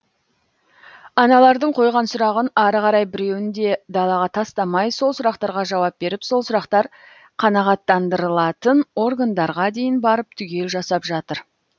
аналардың қойған сұрағын ары қарай біреуін де далаға тастамай сол сұрақтарға жауап беріп сол сұрақтар қанағаттандырылатын органдарға дейін барып түгел жасап жатыр